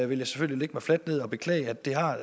vil jeg selvfølgelig lægge mig fladt ned og beklage at det har